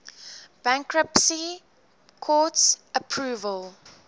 bankruptcy court's approval